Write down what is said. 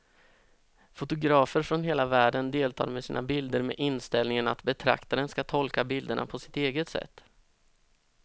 Fotografer från hela världen deltar med sina bilder med inställningen att betraktaren ska tolka bilderna på sitt eget sätt.